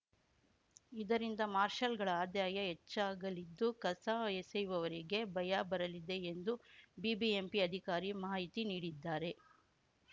ಇದರಿಂದ ಮಾರ್ಷಲ್‌ಗಳ ಆದಾಯ ಹೆಚ್ಚಾಗಲಿದ್ದು ಕಸ ಎಸೆಯುವವರಿಗೆ ಭಯ ಬರಲಿದೆ ಎಂದು ಬಿಬಿಎಂಪಿ ಅಧಿಕಾರಿ ಮಾಹಿತಿ ನೀಡಿದ್ದಾರೆ